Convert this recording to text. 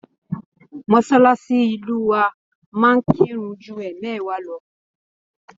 Mosalasi ilu wa máa ń kirun ju emewa lọ.